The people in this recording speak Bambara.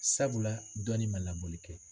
Sabula dɔɔnin ma labɔli kɛ.